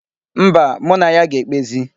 Mba, mụ na ya ga-ekpezi.